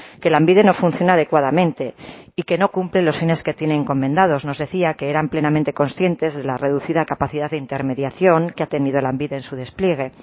que lanbide no funciona adecuadamente y que no cumple los fines que tiene encomendados nos decía que eran plenamente conscientes de la reducida capacidad de intermediación que ha tenido lanbide en su despliegue